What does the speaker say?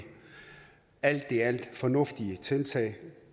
alt i alt fornuftige tiltag